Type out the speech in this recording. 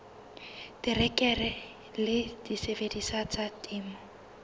terekere le disebediswa tsa temo